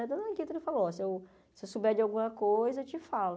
A dona Guita falou, se eu souber de alguma coisa, eu te falo.